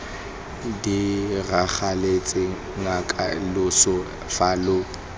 diragaletse nnake loso fa lo